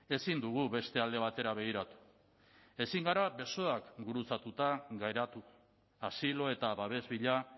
ezin dugu beste alde batera begiratu ezin gara besoak gurutzatuta geratu asilo eta babes bila